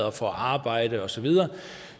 og får arbejde og så videre